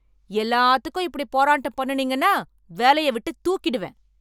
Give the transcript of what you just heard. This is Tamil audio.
எல்லாத்துக்கும் இப்படி போராட்டம் பண்ணுனீங்கனா வேலைய விட்டு தூக்கிடுவேன்